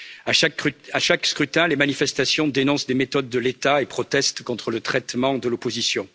À chaque scrutin, les manifestations dénoncent les méthodes de l'État et protestent contre le traitement de l'opposition.